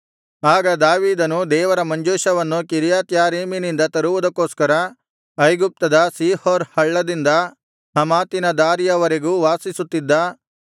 ಆಗ ದಾವೀದನು ದೇವರ ಮಂಜೂಷವನ್ನು ಕಿರ್ಯತ್ಯಾರೀಮಿನಿಂದ ತರುವುದಕ್ಕೋಸ್ಕರ ಐಗುಪ್ತದ ಶೀಹೋರ್ ಹಳ್ಳದಿಂದ ಹಮಾತಿನ ದಾರಿಯ ವರೆಗೂ ವಾಸಿಸುತ್ತಿದ್ದ